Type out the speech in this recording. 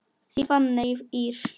Þín Fanney Ýr.